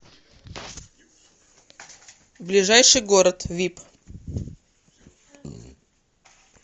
ближайший город вип